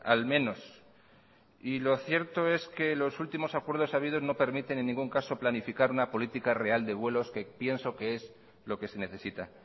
al menos y lo cierto es que los últimos acuerdos habidos no permiten en ningún caso planificar una política real de vuelos que pienso que es lo que se necesita